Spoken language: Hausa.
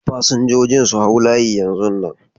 Fasinjojin su hau layi yanzu nan!